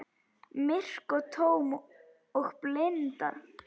Myrk og tóm og blind.